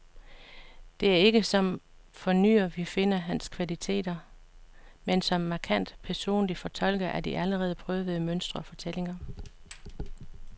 Det er ikke som fornyer, vi finder hans kvaliteter, men som markant personlig fortolker af de allerede prøvede mønstre og fortællinger.